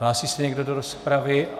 Hlásí se někdo do rozpravy?